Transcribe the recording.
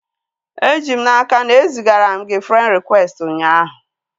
E ji m n'aka na e zigara m gị frend rịkwesti ụnyaahụ